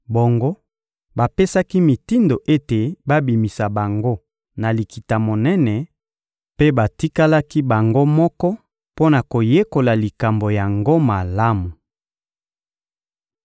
Bongo, bapesaki mitindo ete babimisa bango na Likita-Monene; mpe batikalaki bango moko mpo na koyekola likambo yango malamu.